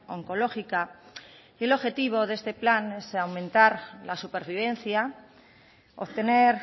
oncológica y el objetivo de este plan es aumentar la supervivencia obtener